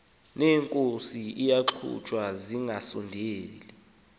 neenkozi ziyagxothwa zingasondeli